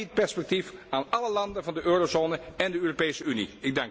Dat biedt perspectief aan alle landen van de eurozone en de Europese Unie.